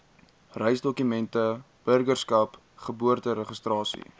reisdokumente burgerskap geboorteregistrasie